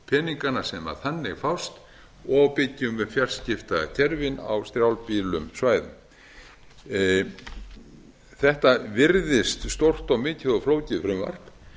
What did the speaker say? peningana sem þannig fást og byggjum upp fjarskiptakerfin á strjálbýlum svæðum þetta virðist stórt og mikið og flókið frumvarp